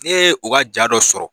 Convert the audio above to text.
Ne ye u ka ja dɔ sɔrɔ